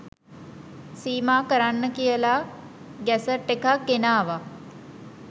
සීමා කරන්න කියලා ගැසට් එකක් ගෙනාවා